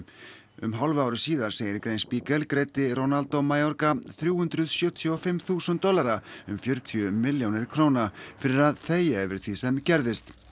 um hálfu ári síðar segir í grein Spiegel greiddi Ronaldo Mayorga þrjú hundruð sjötíu og fimm þúsund dollara um fjörutíu milljónir króna fyrir að þegja yfir því sem gerðist